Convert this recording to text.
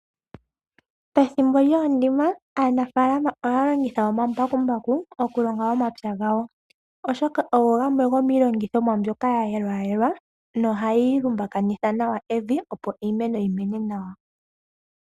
Pethimbo lyoondima aanafaalama ohaya longitha omambakumbaku okulonga omapya gawo, oshoka ogo gamwe gomiilongithomwa mbyoka ya yelwa yelwa nohayi lumbakanitha nawa evi, opo iimeno yi mene nawa.